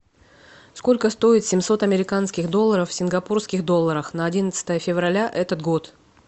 сколько стоит семьсот американских долларов в сингапурских долларах на одиннадцатое февраля этот год